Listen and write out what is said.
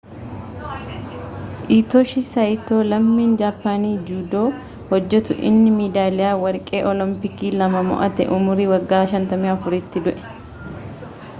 hiitooshii saayitoo lammiin jaappaanii juudoo hojjetu inni meedaaliyaa warqee oolompiikii lama mo'ate umurii wagga 54 tti du'e